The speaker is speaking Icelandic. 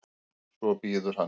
Svo bíður hann.